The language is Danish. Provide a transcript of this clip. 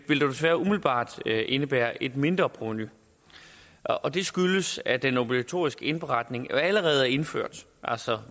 dog desværre umiddelbart indebære et mindre provenu og det skyldes at den obligatoriske indberetning jo allerede er indført altså